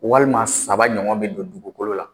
Walima saba ɲɔgɔn bɛ don dugukolo la.